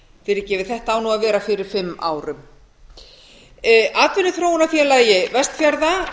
fyrirgefið þetta á að vera fyrir fimm árum atvinnuþróunarfélagi vestfjarða